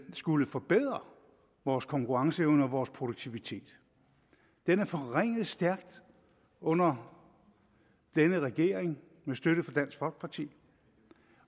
skulle forbedre vores konkurrenceevne og vores produktivitet den er forringet stærkt under denne regering med støtte fra dansk folkeparti